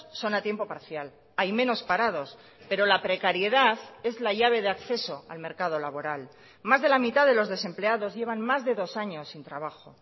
son a tiempo parcial hay menos parados pero la precariedad es la llave de acceso al mercado laboral más de la mitad de los desempleados llevan más de dos años sin trabajo